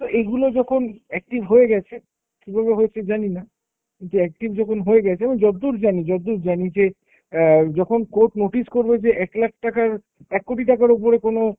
তো এগুলো যখন active হয়ে গেছে, কীভাবে হয়েছে জানি না, কিন্তু active যখন হয়ে গেছে এবং যতদূর জানি, যতদূর জানি যে অ্যাঁ যখন court notice করবে যে একলাখ টাকার, এককোটি টাকার উপরে কোনো